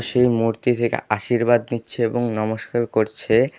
সেই মূর্তি থেকে আশীর্বাদ নিচ্ছে এবং নমস্কার করছে।